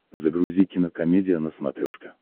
загрузи кинокомедия на смотрешке